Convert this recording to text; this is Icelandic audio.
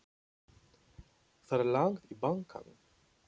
Það er langt í bankann!